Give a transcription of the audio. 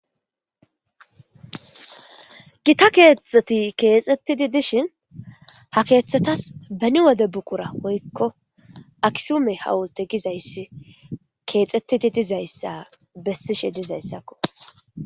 gita keexxeti keexxettidi dishin ha keeththetas beni wode buqura woykko aksume hawulte gizayssi keexettidi dizayssa bessishe dizayssakko